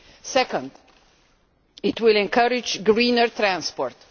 Second, it will encourage greener transport.